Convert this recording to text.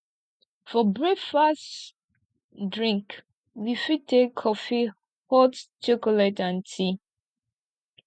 for breakfast drink we fit take coffee hot chocolate or tea